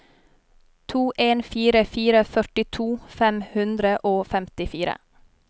to en fire fire førtito fem hundre og femtifire